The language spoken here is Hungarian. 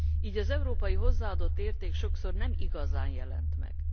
így az európai hozzáadott érték sokszor nem igazán jelent meg.